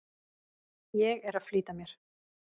Ég er að flýta mér!